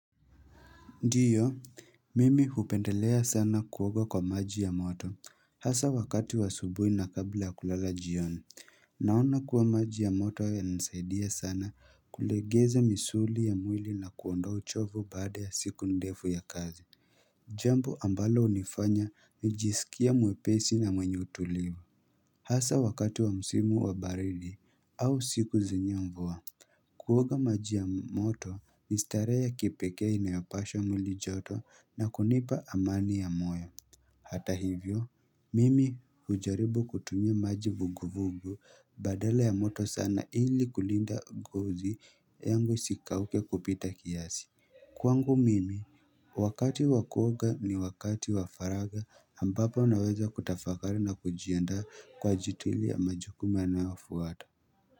Ndiyo, mimi hupendelea sana kuoga kwa maji ya moto, hasa wakati wa asubuhi na kabla ya kulala jioni, naona kuwa maji ya moto yananisaidia sana kulegeza misuli ya mwili na kuondoa uchovu baada ya siku ndefu ya kazi. Jambo ambalo hunifanya nijisikia mwepesi na mwenye utulivu. Hasa wakati wa msimu wa baridi au siku zenye mvua Kuoga maji ya moto ni starehe ya kipekea inayopasha mwili joto na kunipa amani ya moyo Hata hivyo, mimi hujaribu kutumia maji vuguvugu badala ya moto sana ili kulinda gozi yangu isikauke kupita kiasi Kwangu mimi, wakati wa kuoga ni wakati wa faraga ambapo unaweza kutafakari na kujiandaa kwa ajili ya majukumu yanayofuata.